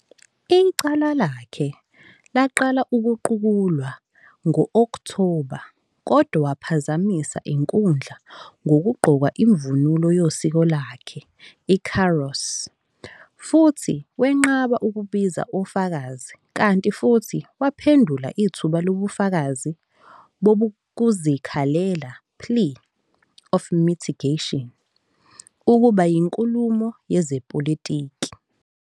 Icala lakhe laqala ukuqulwa ngo-Okthoba, kodwa waphazamisa inkundla ngokugqoka imvunulo yosiko lwakhe, i-"kaross", futhi wenqaba ukubiza ofakazi, kanti futhi waphendula ithuba lobufakazi bokuzikhalela, plea of mitigation, ukuba yinkulumo yezepolitiki.